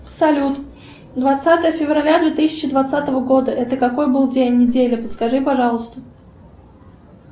салют двадцатое февраля две тысячи двадцатого года это какой был день недели подскажи пожалуйста